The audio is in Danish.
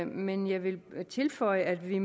men jeg vil tilføje at vi